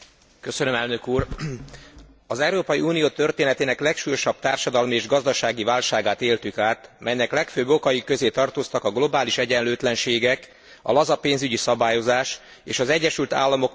Az Európai Unió történetének legsúlyosabb társadalmi és gazdasági válságát éltük át, melynek legfőbb okai közé tartoztak a globális egyenlőtlenségek, a laza pénzügy szabályozás és az Egyesült Államok megengedő monetáris politikája.